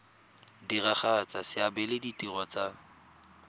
diragatsa seabe le ditiro tsa